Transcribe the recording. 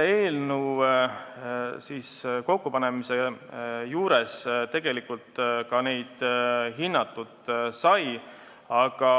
Eelnõu kokkupanemise juures tegelikult neid hinnatud sai, aga